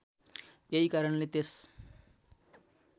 यही कारणले त्यस